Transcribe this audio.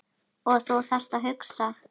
Og þú þarft að hugsa.